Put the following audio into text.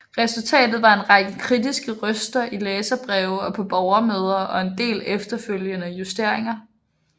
Resultatet var en række kritiske røster i læserbreve og på borgermøder og en del efterfølgende justeringer